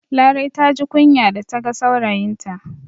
Larai ta ji kunya da ta ga saurayinta